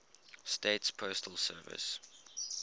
states postal service